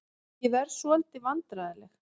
Ég varð svolítið vandræðaleg.